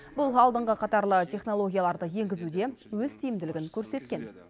бұл алдыңғы қатарлы технологияларды енгізуде өз тиімділігін көрсеткен